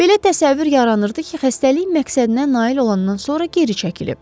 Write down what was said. Belə təsəvvür yaranırdı ki, xəstəlik məqsədinə nail olandan sonra geri çəkilib.